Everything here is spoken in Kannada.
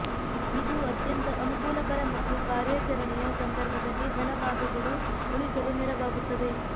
ಇದು ಅತ್ಯಂತ ಅನುಕೂಲಕರ ಮತ್ತು ಕಾರ್ಯಾಚರಣೆಯ ಸಂದರ್ಭದಲ್ಲಿ ಬಲ ಭಾಗಗಳು ಉಳಿಸಲು ನೆರವಾಗುತ್ತದೆ